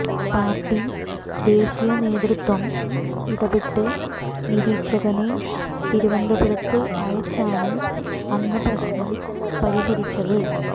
party ദേശീയ നേതൃത്വം ഇടപ്പെട്ട് നിരീക്ഷകനെ തിരുവനന്തപുരത്ത് അയച്ചാണ് അന്ന് പ്രശ്നം പരിഹരിച്ചത്